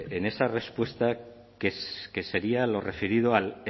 en esa respuesta que sería lo referido al